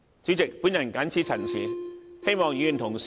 主席，我謹此陳辭，希望議員支持我的修正案。